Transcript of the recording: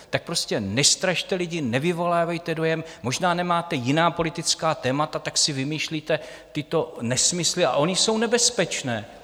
Tak prostě nestrašte lidi, nevyvolávejte dojem - možná nemáte jiná politická témata, tak si vymýšlíte tyto nesmysly a ony jsou nebezpečné.